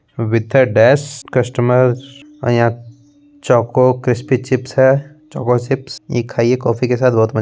with uh dash customer uh यहाँ Chauko crispy chips है Chauko chips ई खाइये कॉफ़ी के साथ बहुत मजा --